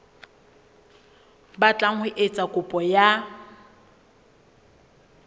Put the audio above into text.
batlang ho etsa kopo ya